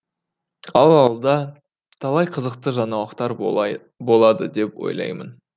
ал алда талай қызықты жаңалықтар болады деп ойлаймын